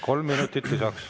Kolm minutit lisaks.